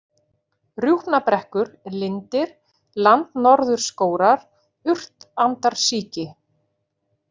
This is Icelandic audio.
Rjúpnabrekkur, Lindir, Landnorðurskórar, Urtandarsíki